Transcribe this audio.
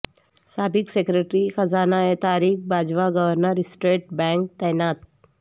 سابق سیکرٹری خزانہ Tariq Bajwa governor state bank تعینات